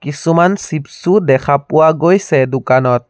কিছুমান চ্চিপ্ছ ও দেখা পোৱা গৈছে দোকানত।